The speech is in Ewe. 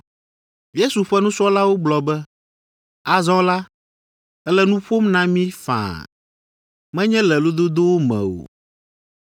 Yesu ƒe nusrɔ̃lawo gblɔ be, “Azɔ la, èle nu ƒom na mí faa, menye le lododowo me o.